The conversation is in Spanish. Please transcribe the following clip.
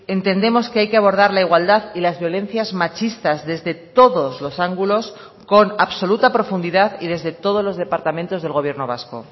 entendemos que hay que abordar la igualdad y las violencias machistas desde todos los ángulos con absoluta profundidad y desde todos los departamentos del gobierno vasco